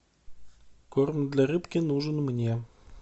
корм для рыбки нужен мне